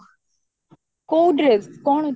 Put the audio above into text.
କୋଉ dress କଣ